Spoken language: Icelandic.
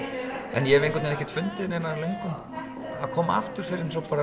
en ég hef einhvern ekkert fundið löngun til að koma aftur fyrr en svo